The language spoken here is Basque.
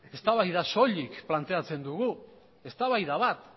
eztabaida soilik planteatzen dugu eztabaida bat